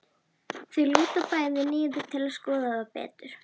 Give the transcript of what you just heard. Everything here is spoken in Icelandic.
Þau lúta bæði niður til að skoða það betur.